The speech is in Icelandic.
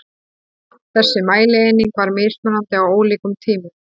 Þessi mælieining var mismunandi á ólíkum tímum.